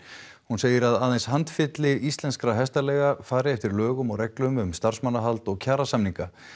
hún segir að aðeins handfylli íslenskra hestaleiga fari eftir lögum og reglum um starfsmannahald og kjarasamninga